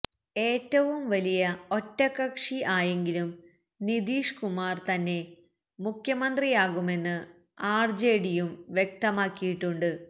ഏറ്റവും വലിയ ഒറ്റകക്ഷി ആയെങ്കിലും നിതീഷ് കുമാർ തന്നെ മുഖ്യമന്ത്രിയാകുമെന്ന് ആർജെഡിയും വ്യക്തമാക്കിയിട്ടുണ്ട്